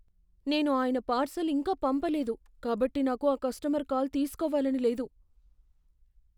నేను ఆయన పార్సల్ ఇంకా పంపలేదు కాబట్టి నాకు ఆ కస్టమర్ కాల్ తీస్కోవాలని లేదు.